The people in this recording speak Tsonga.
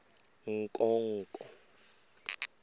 nkonko